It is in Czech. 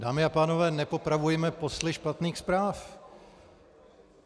Dámy a pánové, nepopravujme posly špatných zpráv.